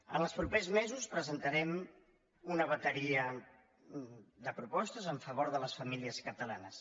en els propers mesos presentarem una bateria de propostes en favor de les famílies catalanes